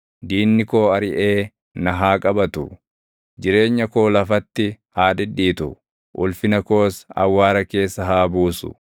diinni koo ariʼee na haa qabatu; jireenya koo lafatti haa dhidhiitu; ulfina koos awwaara keessa haa buusu.